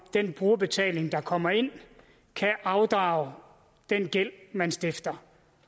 den brugerbetaling der kommer ind kan afdrage den gæld man stifter